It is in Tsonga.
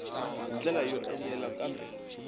hi ndlela yo enela kambe